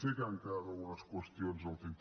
sé que han quedat algunes qüestions al tinter